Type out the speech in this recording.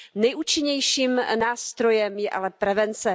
Nejúčinnějším nástrojem je ale prevence.